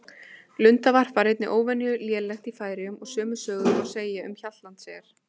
Lundavarp var einnig óvenju lélegt í Færeyjum og sömu sögu má segja um Hjaltlandseyjar.